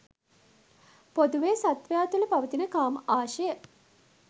පොදුවේ සත්වයා තුළ පවතින කාම ආශය